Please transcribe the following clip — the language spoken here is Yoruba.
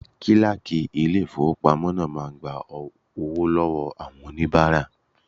Kíláàkì ilé ìfowópamọ́ máa ń gba owó lọ́wọ́ àwọn oníbàárà.